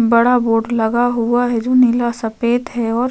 बड़ा बोर्ड लगा हुआ है जो नीला - सफेद है और --